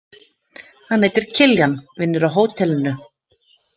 Hann heitir Kiljan, vinnur á hótelinu.